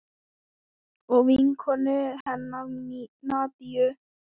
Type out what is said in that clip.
Og vinkonu hennar Nadiu.